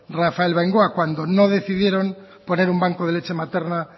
rafael bengoa cuando no decidieron poner un banco de leche materna